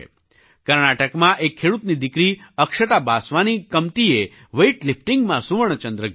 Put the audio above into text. કર્ણાટકમાં એક ખેડૂતની દીકરી અક્ષતા બાસવાની કમતીએ વેઇટલિફ્ટિંગમાં સુવર્ણ ચંદ્રક જીત્યો